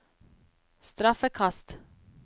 straffekast